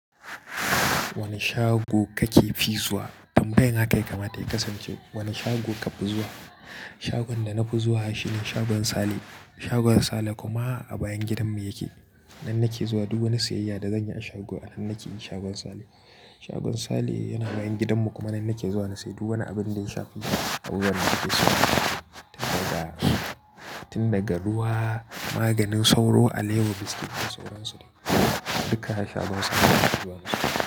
Wane shago kake fi zuwa? Ambeg haka yakamata ya kasance. Wane shago ka fi zuwa? Shagon da na fi zuwa shi ne shagon Sale. Shagon Sale kuma a bayan gidanmu yake. Nan nake zuwa duk wani siyayya da zan yi a shago, anan nake yishagon Sale. Shagon Sale yana nan gidanmu kuma nan nake zuwa na sayi duk wani abin da ya shafi abubuwan da ake so, tun daga ruwa, maganin sauro, alewa, biskit da sauransu duka a shagon Sale na zuwa.